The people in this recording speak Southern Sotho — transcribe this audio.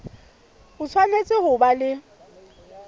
o tshwanetse ho ba le